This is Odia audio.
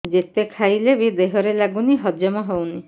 ଯେତେ ଖାଇଲେ ବି ଦେହରେ ଲାଗୁନି ହଜମ ହଉନି